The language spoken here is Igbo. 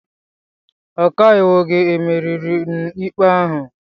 Ọkaiwu gị emeriri n' ikpe ahụ?